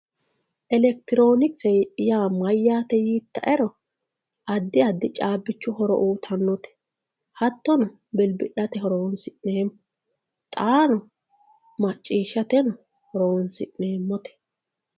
elekitiroonikise mayyaate yiittaero addi addi caabbichu horo uyiitannote hattono bilbi'late horonsi'neemmo xaano macciishshateno horonsi'neemmote.